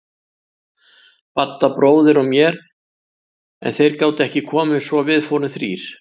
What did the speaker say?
Badda bróðir og mér en þeir gátu ekki komið svo við fórum þrír.